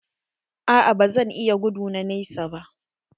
A'a ba zan iya gudu na nesa ba.